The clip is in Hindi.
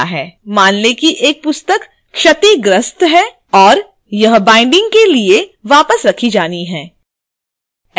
मान लें कि एक पुस्तक क्षतिग्रस्त है और/या बाइंडिग के लिए वापस रखी जानी है